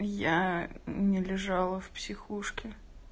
я не лежала в психушке